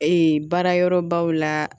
Ee baarayɔrɔbaw la